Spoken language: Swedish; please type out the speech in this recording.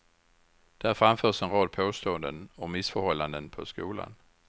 Där framförs en rad påståenden om missförhållanden på skolan.